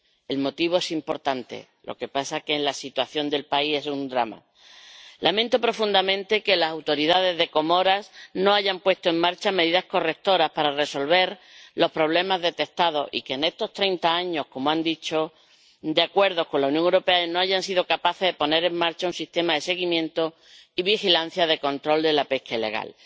Es una razón importante, lo que pasa es que la situación del país es un drama. Lamento profundamente que las autoridades de las Comoras no hayan puesto en marcha medidas correctoras para resolver los problemas detectados, y que en estos 30 años de acuerdo con la Unión Europea no hayan sido capaces de poner en marcha un sistema de seguimiento y vigilancia para el control de la pesca ilegal.